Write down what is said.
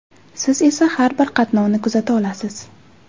Siz esa har bir qatnovni kuzata olasiz.